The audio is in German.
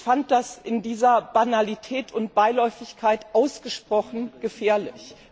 Ich fand das in dieser Banalität und Beiläufigkeit ausgesprochen gefährlich.